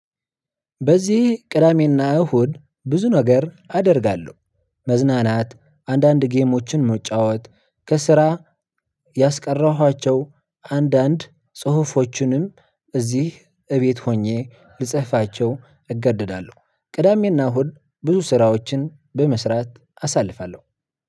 በዚህ ቅዳሜና እሁድ ብዙ ነገር አደርጋለሁ። መዝናናት አንዳንድ ጌሞችን መጫወት ከስራ ያስቀራኋቸው አንዳንድ ጽሁፎችንም እዚህ እቤት ሆኜ ልጽፋቸው እገደዳለሁ። ቅዳሜ እና እሁድ ብዙ ስራዎችን በመስራት አሳልፋለሁ።